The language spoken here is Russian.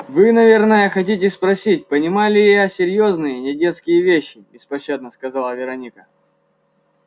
вы наверное хотите спросить понимаю ли я серьёзные недетские вещи беспощадно сказала вероника